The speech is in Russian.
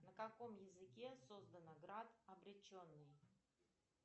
на каком языке создана град обреченный